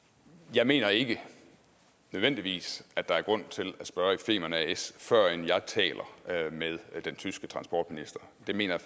jeg mener ikke nødvendigvis at der er grund til at spørge i femern as før jeg taler med den tyske transportminister det mener